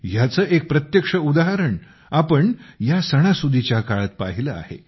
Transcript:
ह्याचे एक प्रत्यक्ष उदाहरण आपण या सणासुदीच्या काळात पाहिले आहे